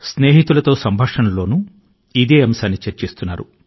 సంవత్సరం ఎందుకు మంచి గా లేదని ప్రజలు వ్రాస్తున్నారు స్నేహితుల తో సంభాషిస్తున్నారు